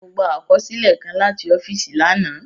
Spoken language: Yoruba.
Mọ gbà àkọsílẹ kàn làti ọ́fíìsì lànà.